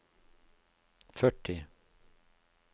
førti